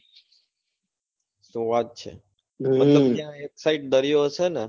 શું વાત છે મતલબ ત્યાં એક side દરિયો હશે ને?